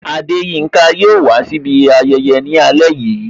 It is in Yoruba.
Adeyinka yo wà si ibi ayẹyẹ ni ale yìí